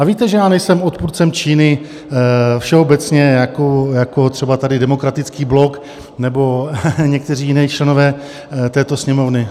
A víte, že já nejsem odpůrcem Číny všeobecně jako třeba tady Demokratický blok nebo někteří jiní členové této Sněmovny.